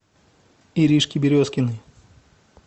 иришке березкиной